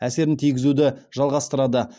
әсерін тигізуді жалғастырады